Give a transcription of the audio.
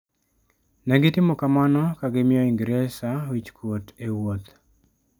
Ne gitimo kamano ka gimiyo Ingresa wich kuot e wuoth.